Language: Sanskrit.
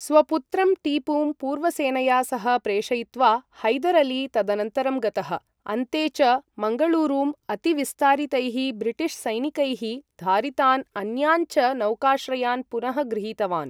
स्वपुत्रं टीपुम् पूर्वसेनया सह प्रेषयित्वा, हैदर् अली तदनन्तरं गतः, अन्ते च मङ्गलूरुं, अतिविस्तारितैः ब्रिटिशसैनिकैः धारितान् अन्यान् च नौकाश्रयान् पुनः गृहीतवान्।